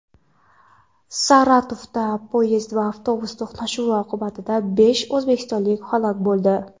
Saratovda poyezd va avtobus to‘qnashuvi oqibatida besh o‘zbekistonlik halok bo‘ldi.